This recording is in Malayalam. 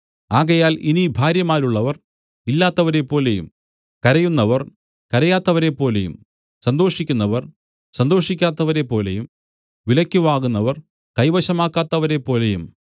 ആകയാൽ ഇനി ഭാര്യമാരുള്ളവർ ഇല്ലാത്തവരെപ്പോലെയും കരയുന്നവർ കരയാത്തവരെപ്പോലെയും സന്തോഷിക്കുന്നവർ സന്തോഷിക്കാത്തവരെപ്പോലെയും വിലയ്ക്ക് വാങ്ങുന്നവർ കൈവശമാക്കാത്തവരെപ്പോലെയും